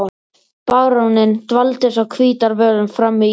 Baróninn dvaldist á Hvítárvöllum fram í júní.